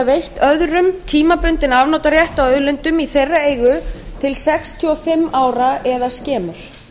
veitt öðrum tímabundinn afnotarétt á auðlindum í þeirra eigu til sextíu og fimm ára eða skemur